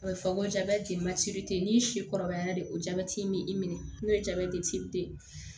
A bɛ fɔ ko n'i si kɔrɔbayara de ko jabɛti in b'i minɛ n'o ye